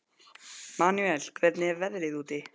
Manúel, hvernig er veðrið úti?